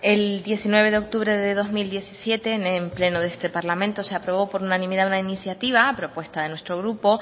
el diecinueve de octubre de dos mil diecisiete en un pleno de este parlamento se aprobó por unanimidad una iniciativa a propuesta de nuestro grupo